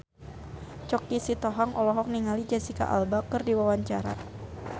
Choky Sitohang olohok ningali Jesicca Alba keur diwawancara